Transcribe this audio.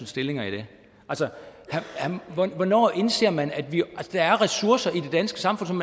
stillinger i det hvornår indser man at der er ressourcer i det danske samfund som